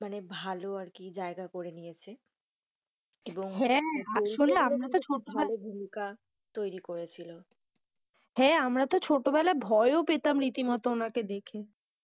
ভালো আর কি জায়গা করে নিয়েছে, এবং হ্যাঁ আসলে আমরা তো ছোট, ভালো ভূমিকা তৈরী করেছিল, হ্যাঁ আমরা তো ছোট বেলায় ভয় ও পেতাম রীতি মতো ওনাকে দেখে।